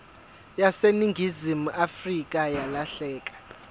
yaseningizimu afrika yalahleka